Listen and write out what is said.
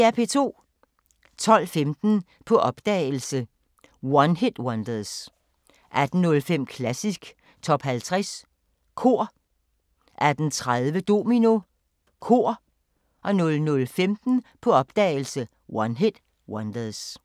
12:15: På opdagelse – One-Hit-Wonders 18:05: Klassisk Top 50 Kor 18:30: Domino – Kor 00:15: På opdagelse – One-Hit-Wonders